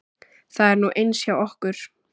Það er nú eins hjá okkur.